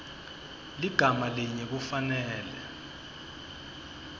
ligama linye kufanele